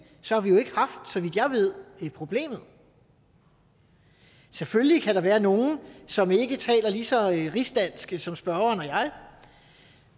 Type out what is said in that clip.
så har vi jo så vidt jeg ved ikke haft problemet selvfølgelig kan der være nogle som ikke taler lige så rigsdansk som spørgeren og jeg